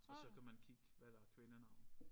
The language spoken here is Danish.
Og så kan man kigge hvad der er kvindenavne